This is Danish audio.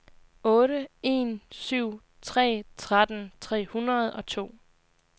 otte en syv tre tretten tre hundrede og to